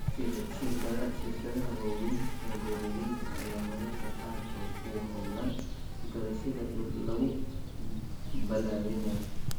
Shirkadaha waaweyn ee beeralayda ayaa mararka qaarkood ku hawlan gadashada dhul lagu balaadhinayo.